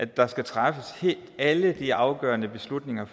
der træffes alle de afgørende beslutninger i